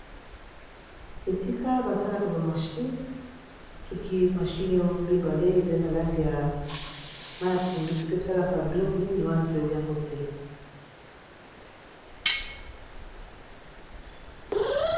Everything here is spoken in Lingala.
Esika basalaka ba mashine soki mashine o mibale eza na langi ya mayi ya pondu soki esalaka biloko nini wana toyebi yango te.